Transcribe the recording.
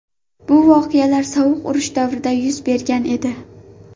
Bu voqealar sovuq urush davrida yuz bergan edi.